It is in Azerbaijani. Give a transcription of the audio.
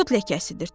Tut ləkəsidir.